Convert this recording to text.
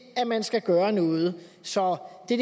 at man skal gøre noget så det